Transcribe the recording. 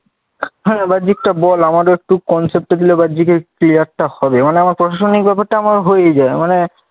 হ্যাঁ বাহ্যিক টা বল, আমার একটু concept টা দিলে বাহ্যিক এর clear হবে। মানে আমার প্রশাসনিক ব্যপারটা আমার হয়েই যায়, মানে